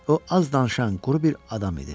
O az danışan, quru bir adam idi.